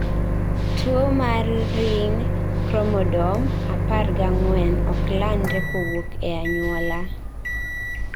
tuo mar ring chromodome apar ga ang'uen ok landre kowuok e anyuola